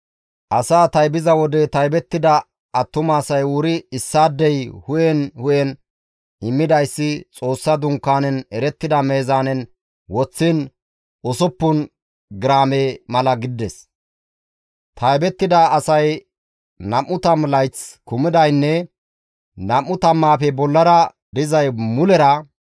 Asaa taybiza wode taybettida attumasay wuri issaadey hu7en hu7en immidayssi Xoossa Dunkaanen erettida meezaanen woththiin usuppun giraame mala gidides. Taybettida asay nam7u tammu layth kumidaynne nam7u tammaafe bollara dizay mulera 603,550.